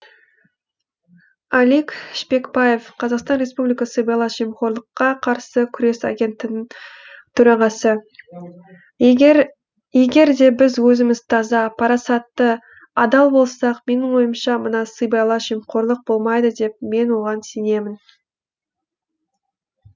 алик шпекбаев қазақстан республикасы сыбайлас жемқорлыққа қарсы күрес агенттігінің төрағасы егерде біз өзіміз таза парасатты адал болсақ менің ойымша мына сыбайлас жемқорлық болмайды деп мен оған сенемін